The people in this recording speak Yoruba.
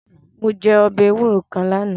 Mo je ọbẹ ewuro kan lana